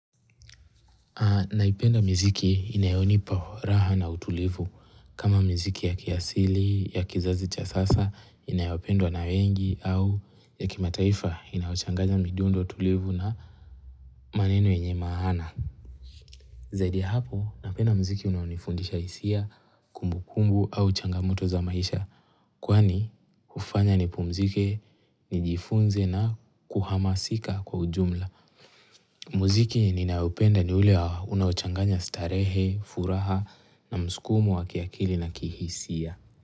Naipenda mziki inayonipa raha na utulivu kama mziki ya kiasili, ya kizazi cha sasa inayopendwa na wengi au ya kimataifa inayochanganya midundo utulivu na maneno yenye maana. Zaidi ya hapo napenda mziki unayonifundisha isia kumbukumbu au changamoto za maisha kwani hufanya nipumzike nijifunze na kuhamasika kwa ujumla. Muziki ninayopenda ni ule unayochanganya starehe, furaha na mskumu wa kiakili na kihisia.